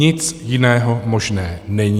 Nic jiného možného není.